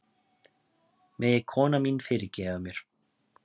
Megi konan mín fyrirgefa mér